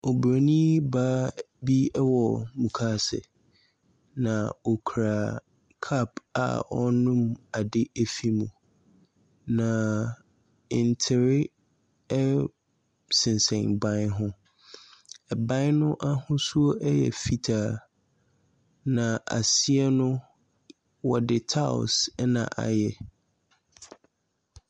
Obronii baa bi ɛwɔ mukaase na ɔkura cup a ɔrenom ade ɛfiri mu na ntere ɛsensen ban ho. Ɛban no ahosuo ɛyɛ fitaa na aseɛ no ɔde tiles ɛna ayɛ.